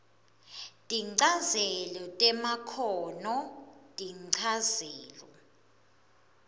tinchazelo temakhono tinchazelo